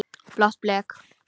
Blátt blek.